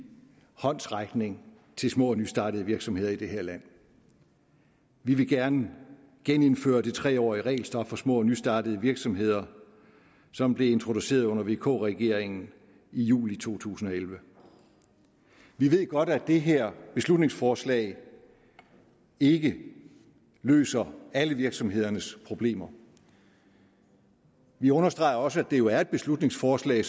håndsrækning til små og nystartede virksomheder i det her land vi vil gerne genindføre det tre årige regelstop for små og nystartede virksomheder som blev introduceret under vk regeringen i juli to tusind og elleve vi ved godt at det her beslutningsforslag ikke løser alle virksomhedernes problemer vi understreger også at det jo er et beslutningsforslag